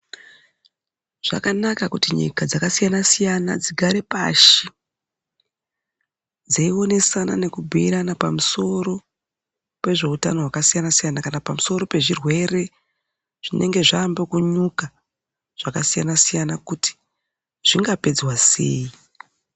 Zvakanaka kuti nyika dzakasiyana-siyana dzigare pashi dzeionesana nekubhuirana pamusoro pezveutano hwakasiyana-siyana kana pamusoro pezvirwere zvinenge zvaambe kunyuka zvakasiyana-siyana kuti zvingapedzwa sei.